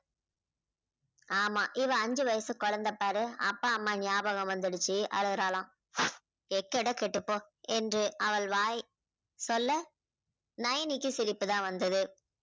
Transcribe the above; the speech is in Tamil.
ஆமா இவள் அஞ்சு வயசு குழந்தை பாரு அப்பா அம்மா ஞாபகம் வந்திடுச்சு அழுறாலாம். எக்கேடோ கெட்டுப்போ என்று அவள் வாய் சொல்ல நயனிக்கு சிரிப்பு தான் வந்தது.